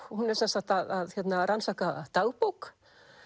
hún er sem sagt að rannsaka dagbók